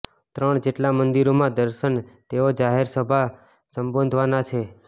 ત્રણ જેટલા મંદિરોમાં દર્શન તેઓ જાહેર સભા સંબોધવાના છે